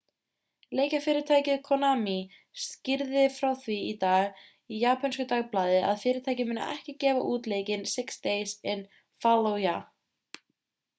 leikjafyrirtækið konami skýrði frá því í dag í japönsku dagblaði að fyrirtækið muni ekki gefa út leikinn six days in fallujah